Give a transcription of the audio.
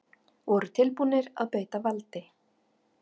Voru tilbúnir að beita valdi